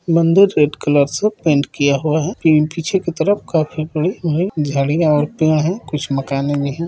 मंदिर red colour से paint किया हुआ है एण्ड पीछे के तरफ काफी बड़ी झड़िया और पेड़ है कुछ मकाने भी है।